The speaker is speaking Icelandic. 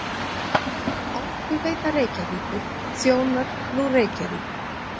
Orkuveita Reykjavíkur þjónar nú Reykjavík